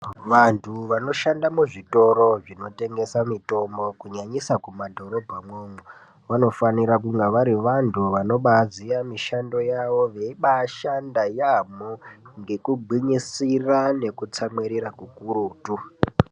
Vantu vanoshanda muzvitoro zvinotengesa mitombo kunyanyisa kumadhorobha mwomwo ,vanofanira kunge vari vantu vanobaziva mishando yavo veibashanda yaambo ngekugwinyisira nekutsamwirira kukurutu